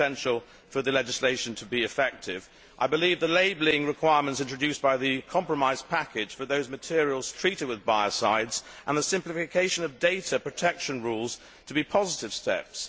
This is essential for the legislation to be effective. I believe the labelling requirements introduced by the compromise package for those materials treated with biocides and the simplification of data protection rules to be positive steps.